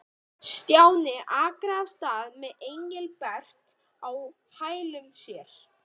Stjáni arkaði af stað með Engilbert á hælum sér.